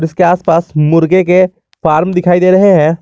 इसके आस पास मुर्गे के फॉर्म दिखाई दे रहे हैं।